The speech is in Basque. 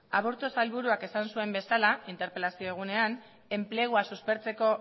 aburto sailburuak esan zuen bezala interpelazio egunean enplegua suspertzeko